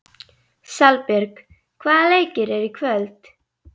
Salbjörg, hvaða leikir eru í kvöld?